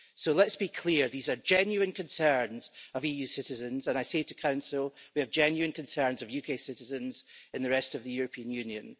Let's be clear these are genuine concerns of EU citizens and I say to the Council, we have genuine concerns of UK citizens in the rest of the European Union.